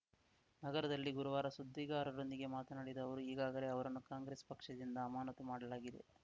ನಗರದಲ್ಲಿ ಗುರುವಾರ ಸುದ್ದಿಗಾರರೊಂದಿಗೆ ಮಾತನಾಡಿದ ಅವರು ಈಗಾಗಲೇ ಅವರನ್ನು ಕಾಂಗ್ರೆಸ್‌ ಪಕ್ಷದಿಂದ ಆಮಾನತು ಮಾಡಲಾಗಿದೆ